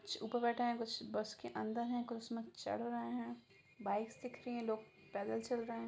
कुछ ऊपर बैठे हैं कुछ बस के अंदर हैं कुछ इसमें चढ़ रहे हैं बाइक्स दिख रही हैं लोग पैदल चल रहे हैं।